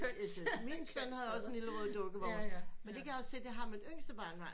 Min søn havde også sådan en rød lille dukkevogn men det kan jeg også se det har mit yngste barnebarn